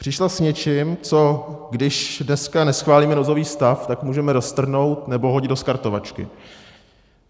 Přišla s něčím, co když dneska neschválíme nouzový stav, tak můžeme roztrhnout nebo hodit do skartovačky.